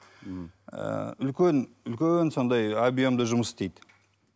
м ы үлкен үлкен сондай объемды жұмыс істейді